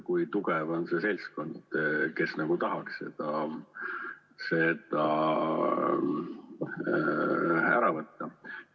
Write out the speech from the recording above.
Kui tugev on see seltskond, kes nagu tahaks seda ära võtta?